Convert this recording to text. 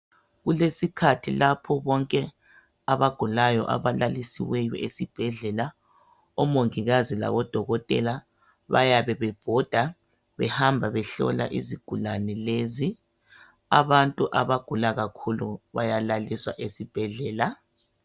Kulesikhathi lapho bonke abagulayo abalalisiweyo esibhedlela. Omongikazi labodokotela bayabe bebhoda behamba behlola izigulani lezi. Abantu abagula kakhulu bayalaliswa esibhedlela